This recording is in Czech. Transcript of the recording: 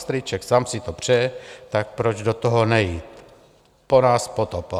Strýček Sam si to přeje, tak proč do toho nejít, po nás potopa.